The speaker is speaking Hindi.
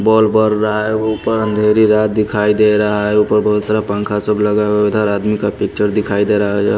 बॉल बड़ रहा है ऊपर अंधेरी रात दिखाई दे रहा है ऊपर बहुत सारा पंखा सप लगा हुआ है उधर आदमी का पिक्चर दिखाई दे रहा है।